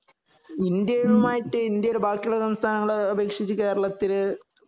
India യുമായിട്ട് India യിലെ ബാക്കി ഉള്ള സംസ്ഥാനങ്ങളെ അപേക്ഷിച്ച് കേരളത്തില് കാലാവസ്ഥ എങ്ങനെ